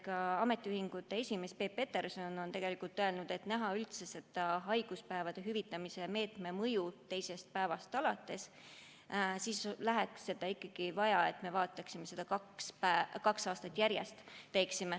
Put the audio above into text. Ka ametiühingute keskliidu juht Peep Peterson on öelnud, et selleks, et näha haiguspäevade teisest päevast alates hüvitamise meetme mõju, oleks ikkagi vaja, et me teeksime seda kaks aastat järjest.